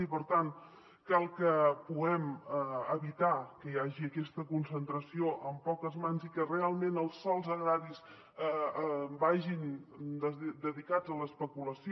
i per tant cal que puguem evitar que hi hagi aquesta concentració en poques mans i que realment els sòls agraris vagin dedicats a l’especulació